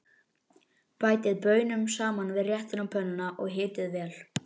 Bætið baununum saman við réttinn á pönnunni og hitið vel.